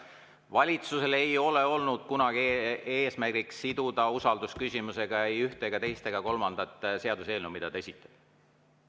Valitsusel ei ole olnud kunagi eesmärki siduda usaldusküsimusega ei ühte ega teist ega kolmandat seaduseelnõu, mida ta on esitanud.